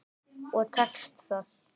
Og tekst það.